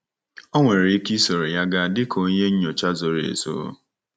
Ọ̀ nwere ike isoro ya gaa dịka onye nnyocha zoro ezo?